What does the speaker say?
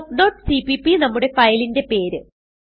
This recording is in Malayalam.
talkസിപിപി നമ്മുടെ ഫയലിന്റെ പേര്